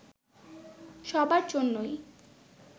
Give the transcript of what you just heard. সবার জন্যই